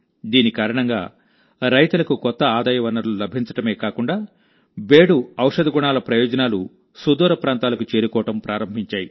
దీని కారణంగారైతులకు కొత్త ఆదాయ వనరులు లభించడమే కాకుండాబేడుఔషధ గుణాల ప్రయోజనాలు సుదూరప్రాంతాలకు చేరుకోవడం ప్రారంభించాయి